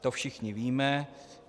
To všichni víme.